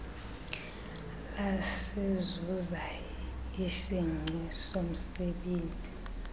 lasizuza isingqi somzebenzi